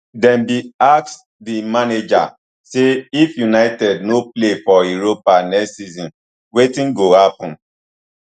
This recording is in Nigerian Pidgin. dem bin ask di manager say if united no play for europe next season wetin go happun